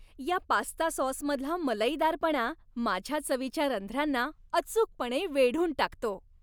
या पास्ता सॉसमधला मलईदारपणा माझ्या चवीच्या रंध्रांना अचूकपणे वेढून टाकतो.